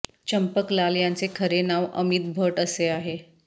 चंपक लाल यांचे खरे नाव अमित भट असे आहे